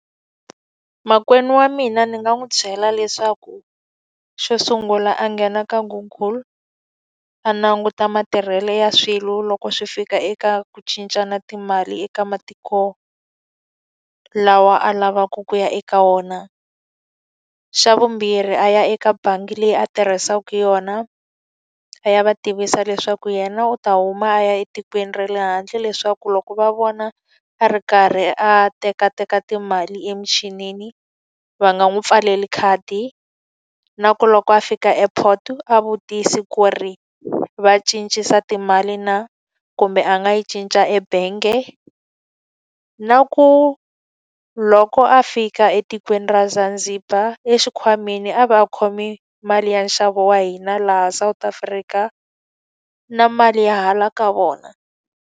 Makwenu wa mina ni nga n'wi byela leswaku xo sungula a nghena ka Google, a languta matirhelo ya swilo loko swi fika eka ku cincana timali eka matiko lawa a lavaku ku ya eka wona. Xa vumbirhi a ya eka bangi leyi a tirhisaka yona, a ya va tivisa leswaku yena u ta huma a ya etikweni ra le handle leswaku loko va vona a ri karhi a tekateka timali emichinini, va nga n'wi pfaleli khadi. Na ku loko a fika airport a vutisa ku ri va cincisa timali na, kumbe a nga yi cinca ebengi. Na ku loko a fika etikweni ra Zanzibar exikhwameni a va a khome mali ya nxavo wa hina laha South Africa, na mali ya hala ka vona.